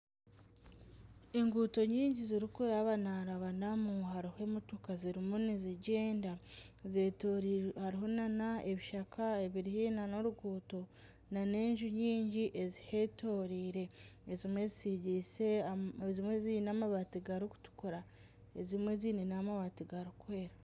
Enguuto nyingi zirikurabanarabanamu emotoka zirimu nizigyenda hariho nana ebishaka biri haihi n'oruguuto nana enju nyingi ezihetooreire, ezimwe ziine amabaati garikutukura, ezimwe ziine amabaati garikwera